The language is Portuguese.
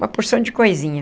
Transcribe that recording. Uma porção de coisinha.